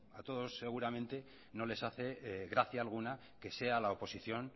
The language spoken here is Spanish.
a todos seguramente no les hace gracia alguna que sea la oposición